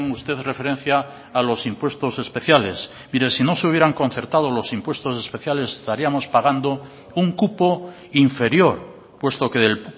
usted referencia a los impuestos especiales mire si no se hubieran concertado los impuestos especiales estaríamos pagando un cupo inferior puesto que del